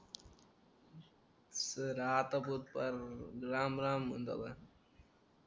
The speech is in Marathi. सर आता राम राम जिंदाबाद